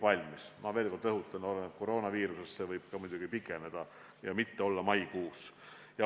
Aga ma veel kord rõhutan, et kõik oleneb koroonaviirusest, arutelu võib edasi lükkuda ja mitte olla maikuus.